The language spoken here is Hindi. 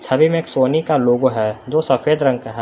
छवि में एक सोनी का लोगो है जो सफेद रंग का है।